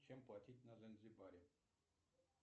чем платить на занзибаре